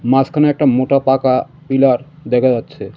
মাঝখানে একটা মোটা পাকা পিলার দেখা যাচ্ছে.